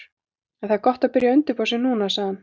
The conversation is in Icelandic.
En það er gott að byrja að undirbúa sig núna, sagði hann.